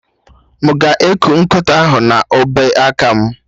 M ga-eku nkịta ahụ na obeaka m?